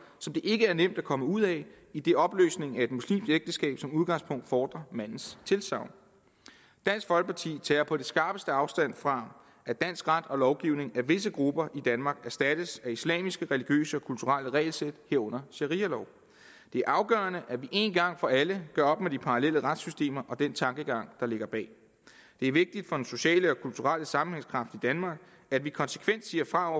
som det ikke er nemt at komme ud af idet opløsning af et muslimsk ægteskab som udgangspunkt fordrer mandens tilsagn dansk folkeparti tager på det skarpeste afstand fra at dansk ret og lovgivning af visse grupper i danmark erstattes af islamiske religiøse og kulturelle regelsæt herunder sharialov det er afgørende at vi en gang for alle gør op med de parallelle retssystemer og den tankegang der ligger bag det er vigtigt for den sociale og kulturelle sammenhængskraft i danmark at vi konsekvent siger fra